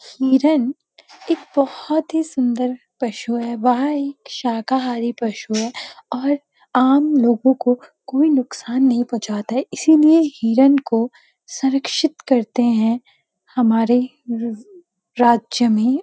हिरण एक बोहोत ही सुंदर पशु है वह एक शाकाहारी पशु है और आम लोगों को कोई नुकसान नहीं पहुँचाता है इसीलिए हिरण को संरक्षित करते हैं हमारे र-राज्य में।